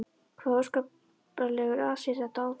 Hvaða óskaplegur asi er þetta á þeim.